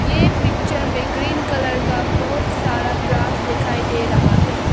ये पिक्चर में green colour का बहुत सारा ग्रास दिखाई दे रहा है।